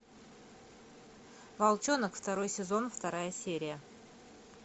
волчонок второй сезон вторая серия